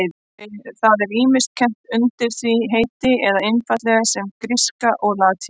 Það er ýmist kennt undir því heiti eða einfaldlega sem gríska og latína.